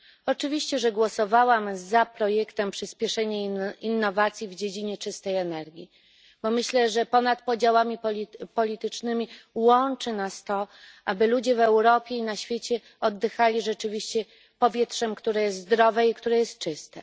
Oczywiście, że głosowałam za projektem Przyspieszenie innowacji w dziedzinie czystej energiiˮ, bo myślę, że ponad podziałami politycznymi łączy nas to, że chcemy, aby ludzie w Europie i na świecie oddychali rzeczywiście powietrzem, które jest zdrowe i czyste.